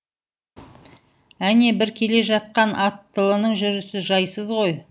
әне бір келе жатқан аттылының жүрісі жайсыз ғой